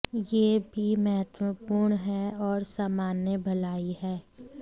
यह भी महत्वपूर्ण है और सामान्य भलाई है